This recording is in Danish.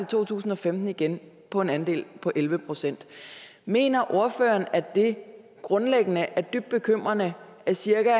to tusind og femten igen på en andel på elleve procent mener ordføreren at det grundlæggende er dybt bekymrende at cirka